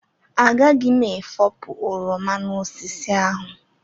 Agaghị m efopụ oroma n'osisi ahụ.